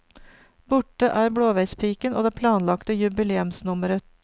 Borte er blåveispiken og det planlagte jubileumsnummeret.